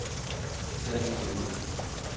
Sallinge Lunde